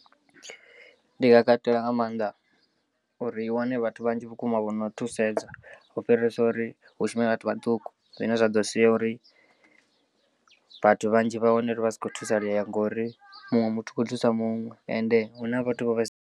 Ndi nga katela nga maanḓa uri i wane vhathu vhanzhi vhukuma vhono thusedza u fhirisa uri hu shume vhathu vhaṱuku, zwine zwa ḓo sia uri vhathu vhanzhi vha wane uri vha si kho thusalea ngori muṅwe muthu u khou thusa muṅwe and huna vhathu vho vhaisala.